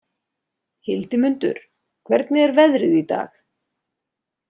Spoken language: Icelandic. Hildimundur, hvernig er veðrið í dag?